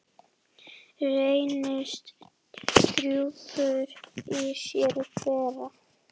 Reynist grúppur í sér bera.